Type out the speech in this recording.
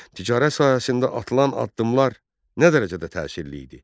Ticarət sahəsində atılan addımlar nə dərəcədə təsirli idi?